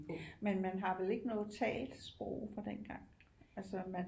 Men man har vel ikke noget talt sprog fra dengang altså man